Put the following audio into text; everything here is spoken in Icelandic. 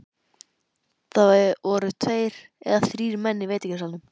Það voru tveir eða þrír menn í veitingasalnum.